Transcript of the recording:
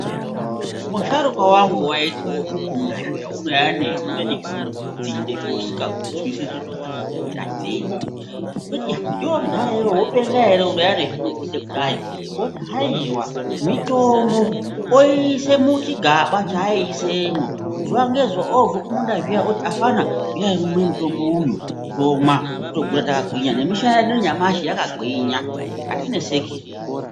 Musharukwa wangu waiti wakubve kumunda zviyani waiuye nezvimwe zvidzinde zvausinganzwisisi kuti zvakamira sei ndoti iya iwewe mudhara iwewe unotenga here inouya nezvimudzinde kudai oti aewa mitombo otora oyiise muchigaba chaaisemwo zuva nezuva obve kumunda zviya oti afana huyai mumwe mutombo uyu tomwa tokura takagwinya nemishana yedu nanyamashi yakagwinya hatineseki.